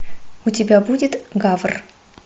у тебя будет гавр